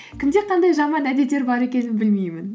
кімде қандай жаман әдеттер бар екенін білмеймін